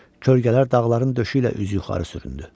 Kölgələr dağların döşü ilə üzü yuxarı süründü.